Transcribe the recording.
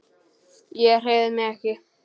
Ég hreyfi mig ekki.